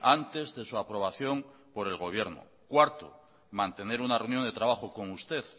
antes de su aprobación por el gobierno cuarto mantener una reunión de trabajo con usted